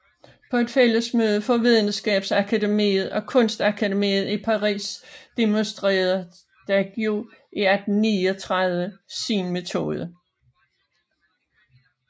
På et fællesmøde for videnskabsakademiet og kunstakademiet i Paris demonstrerede Daguerre i 1839 sin metode